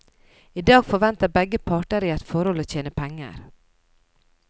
I dag forventer begge parter i et forhold å tjene penger.